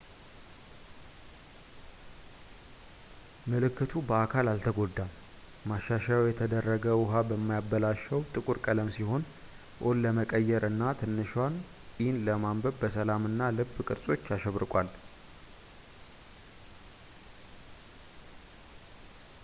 ምልክቱ በአካል አልተጎዳም፣ ማሻሻያው የተደረገ ውሃ በማያበላሸው ጥቁር ቀለም ሲሆን o”ን ለመቀየር እና ትንሿን e” ለማንበብ በሰላም እና ልብ ቅርጾች ተሸብርቋል